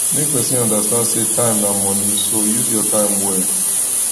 make persin understand say time na money so use your time well